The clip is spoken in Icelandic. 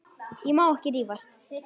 Ég má ekki rífast.